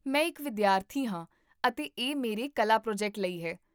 ਮੈਂ ਇੱਕ ਵਿਦਿਆਰਥੀ ਹਾਂ ਅਤੇ ਇਹ ਮੇਰੇ ਕਲਾ ਪ੍ਰੋਜੈਕਟ ਲਈ ਹੈ